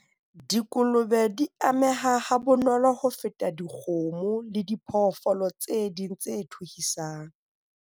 Dikolobe di ameha ha bonolo ho feta dikgomo le diphoofolo tse ding tse thuhisang.